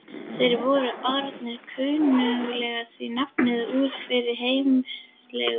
Þeir voru orðnir kunnugir því nafni úr fyrri yfirheyrslum.